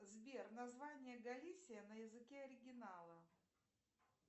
сбер название галисия на языке оригинала